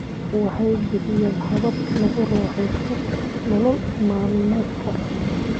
Waxay bixiyaan habab lagu raaxaysto nolol maalmeedka.